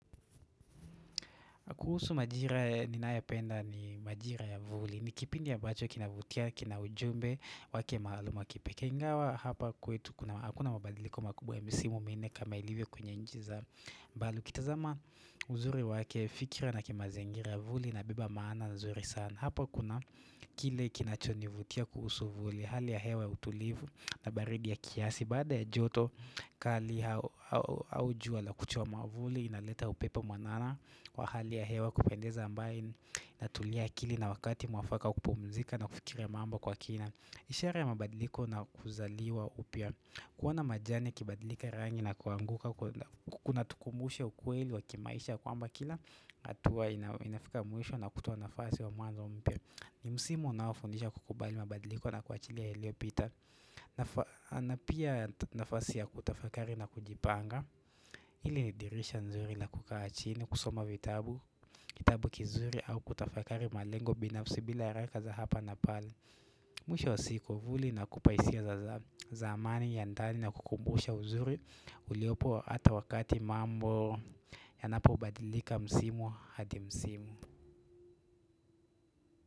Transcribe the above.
Kuhusu majira ninayependa ni majira ya vuli. Ni kipindi ya ambacho kinavutia, kina ujumbe, wake maaluma kipe. Ingawa hapa kwetu, hakuna mabadiliko makubwa ya misimu minne kama ilivyo kwenye nchi za bali. Kitazama uzuri wake fikra na kimazingira vuli inabeba maana nzuri sana. Hapa kuna kile kinachonivutia kuhusu vuli, hali ya hewa ya utulivu na baridi ya kiasi. Baada ya joto kali au jua la kuchoma vuli inaleta upepe mwanana kwa hali ya hewa kupendeza ambaye natulia akili na wakati mwafaka wa kupumzika na kufikira mambo kwa kina. Ishara ya mabadiliko na kuzaliwa upya. Kuona majani yakibadilika rangi na kuanguka kunatukumbusha ukueli wa kimaisha kwamba kila, hatua inafika mwisho na kutuo nafasi wa mwanzo mpya. Ni msimu unaofundisha kukubali mabadiliko na kuachilia yaliyopita na pia nafasi ya kutafakari na kujipanga ile dirisha nzuri na kukaa chini kusoma vitabu Kitabu kizuri au kutafakari malengo binafsi bila haraka za hapa na pale Mwisho wa siku vuli inakupa hisia za zamani ya ndani na kukumbusha uzuri uliopo hata wakati mambo yanapobadilika msimu hadi msimu.